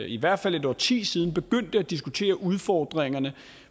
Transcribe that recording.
i hvert fald et årti siden begyndte at diskutere udfordringerne